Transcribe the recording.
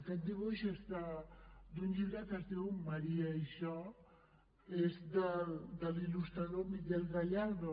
aquest dibuix és d’un llibre que es diu maria i jo és de l’il·lustrador miguel gallardo